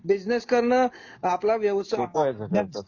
Business करन आपला व्यवसाय आहे.